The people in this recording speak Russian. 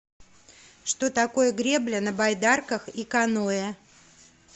что такое гребля на байдарках и каноэ